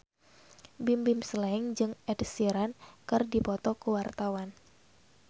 Bimbim Slank jeung Ed Sheeran keur dipoto ku wartawan